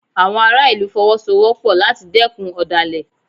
Àwọn ará ìlú Fọwọ́sowọ́pọ̀ láti dẹ́kun ọ̀dàlẹ̀